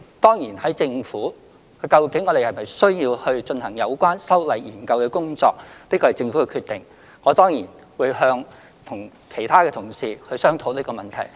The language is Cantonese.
當然，在政府內，究竟是否需要進行有關修例的研究工作，這是政府的決定，我當然會與其他同事商討這個問題。